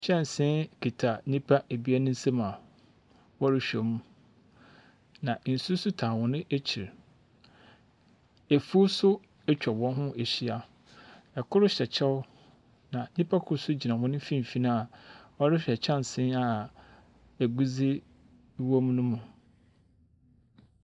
Kyɛnsee kita nnipa abien nsa mu a wɔrehwɛ mu. Na nsu nso taa wɔn akyir. Afuw nso atwa wɔn ho aahyia. Kor hyɛ kyɛw. Na nipa kor gyna wɔn mfimfini a ɔrehwɛ kyɛnsee a agudzi wɔ mu no mu.